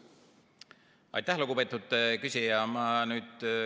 Aitäh, lugupeetud küsija!